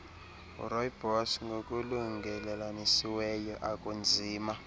rooibos ngokulungelelanisiweyo akunzima